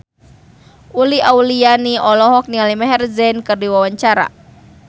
Uli Auliani olohok ningali Maher Zein keur diwawancara